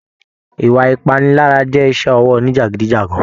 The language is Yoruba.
Ìwà ipanilara jẹ iṣẹ ọwọ òní jagidijagan.